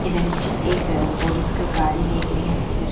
इधर इछ एक पोलिस का गाडी देख रही हु इधर--